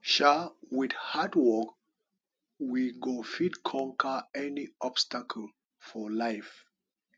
um wit hard work we go fit conquer any obstacle for life